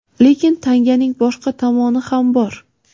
Lekin, tanganing boshqa tomoni ham bor.